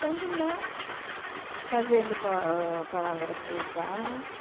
Quando não, fazendo pa ãh palavra cruzada.